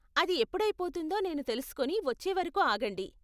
అది ఎప్పుడైపోతుందో నేను తెలుసుకొని వచ్చేవరకు ఆగండి.